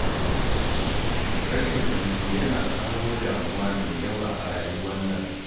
Rashin hutu yana kawo damuwa mai yawa a rayuwar nan.